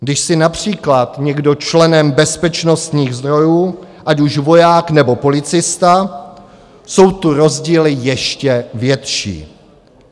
Když je například někdo členem bezpečnostních sborů, ať už voják, nebo policista, jsou tu rozdíly ještě větší.